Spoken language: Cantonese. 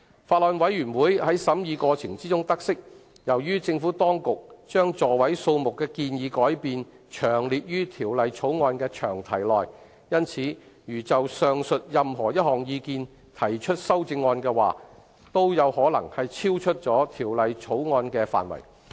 法案委員會在審議過程中得悉，由於政府當局將座位數目的建議改變詳列於《條例草案》的詳題內，因此如就上述任何一項意見提出修正案，皆可能超出《條例草案》的範圍。